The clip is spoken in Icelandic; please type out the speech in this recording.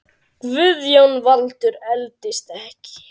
Guðjón Valur eldist ekki.